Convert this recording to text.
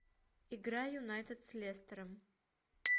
игра юнайтед с лестером